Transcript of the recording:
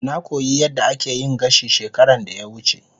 Na koyi yadda ake yin gashi shekaran da ya wuce.